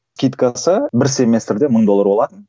скидкасы бір семестрде мың доллар болатын